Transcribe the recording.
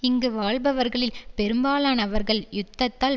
இங்கு வாழ்பவர்களில் பெரும்பாலானவர்கள் யுத்தத்தால்